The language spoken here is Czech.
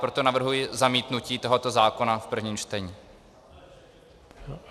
Proto navrhuji zamítnutí tohoto zákona v prvním čtení.